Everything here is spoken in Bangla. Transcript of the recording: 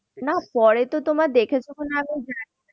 না পরে তো তোমার দেখেছ কি না আমি জানি না।